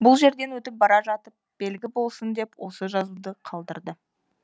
бұл жерден өтіп бара жатып белгі болсын деп осы жазуды қалдырды